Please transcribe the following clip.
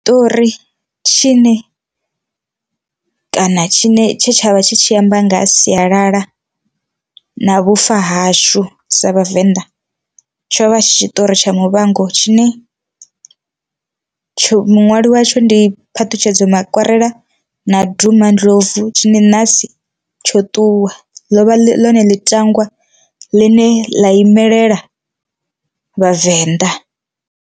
Ṱori tshine kana tshine tshe tshavha tshi tshi amba nga ha sialala na vhufa hashu sa vhavenḓa, tsho vha tshi tshiṱori tsha muvhango tshine tsho muṅwali watsho ndi phaṱhutshedzo makwarela na duma ndlovu tshine nasi tsho ṱuwa ḽovha ḽone ḽitangwa ḽine ḽa imelela vhavenḓa.